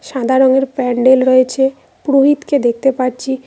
সাদা রঙের প্যান্ডেল রয়েছে পুরোহিতকে দেখতে পাচ্ছি।